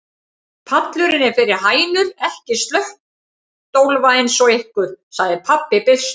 Pallurinn er fyrir hænur, ekki slöttólfa eins og ykkur, sagði pabbi byrstur.